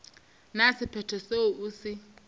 na sephetho seo o se